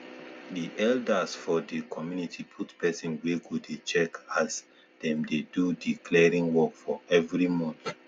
the elders for the community put pesin wey go dey check as them they do the clearing work for every month